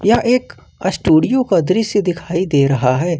यह एक अस्टुडियो का दृश्य दिखाई दे रहा है।